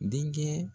Denkɛ